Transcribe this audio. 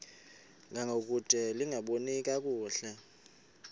ngangokude lingaboni kakuhle